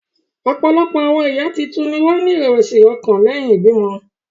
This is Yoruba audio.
Ọ̀pọ̀lọpọ̀ àwọn ìyá tuntun ni wọ́n ní ìrẹ̀wẹ̀sì ọkàn lẹ́yìn ìbímọ.